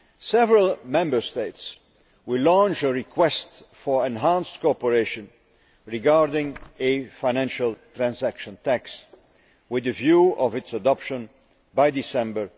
Several Member States will launch a request for enhanced cooperation regarding a financial transaction tax with a view to its adoption by December